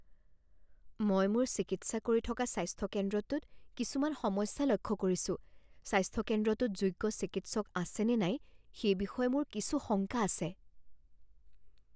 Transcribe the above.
মই মোৰ চিকিৎসা কৰি থকা স্বাস্থ্য কেন্দ্ৰটোত কিছুমান সমস্যা লক্ষ্য কৰিছো। স্বাস্থ্য কেন্দ্ৰটোত যোগ্য চিকিৎসক আছেনে নাই সেই বিষয়ে মোৰ কিছু শংকা আছে।